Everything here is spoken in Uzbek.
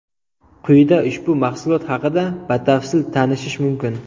Quyida ushbu mahsulot haqida batafsil tanishish mumkin.